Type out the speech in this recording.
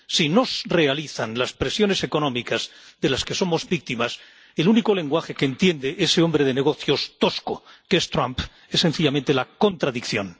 Si nos realizan las presiones económicas de las que somos víctimas, el único lenguaje que entiende ese hombre de negocios tosco que es Trump es, sencillamente, la contradicción.